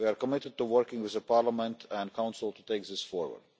We are committed to working with the Parliament and Council to take this forward.